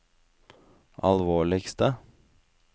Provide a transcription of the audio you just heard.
alvorligste